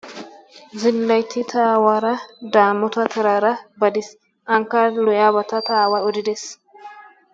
Zillaytti ta awaara daamoota taraara baadiis. Ankka lo"iyabata ta aaway odidees.